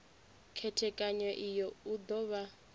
khethekanyo iyi u do vha